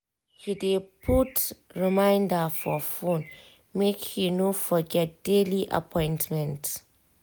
he dey put reminder for phone make he no forget daily appointment.